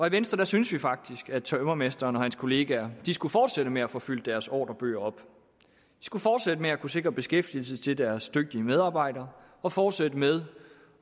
i venstre synes vi faktisk at tømrermesteren og hans kollegaer skulle fortsætte med at få fyldt deres ordrebøger op de skulle fortsætte med at kunne sikre beskæftigelse til deres dygtige medarbejdere og fortsætte med